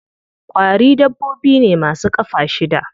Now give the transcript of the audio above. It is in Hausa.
Ƙwari dabbobi ne ma su ƙafa shida.